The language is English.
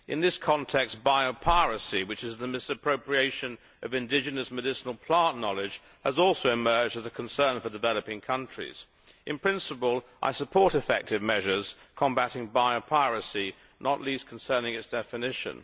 In this context, biopiracy, which is the misappropriation of indigenous medicinal plant knowledge, has also emerged as a concern for developing countries. In principle I support effective measures combating biopiracy, not least concerning its definition.